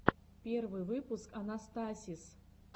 первый выпуск анастасиз